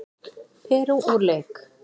Perú úr leik